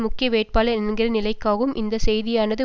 முக்கிய வேட்பாளர் என்கிற நிலைக்காகவும் இந்த செய்தியானது